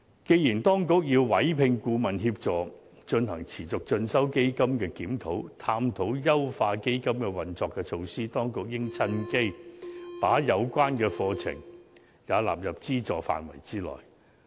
既然當局已委聘顧問協助進行持續進修基金的檢討，探討優化基金的運作措施，當局應趁機把有關課程也納入資助範圍內。